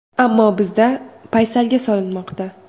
Ammo bizda paysalga solinmoqda.